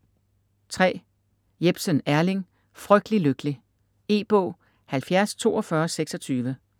Jepsen, Erling: Frygtelig lykkelig E-bog 704226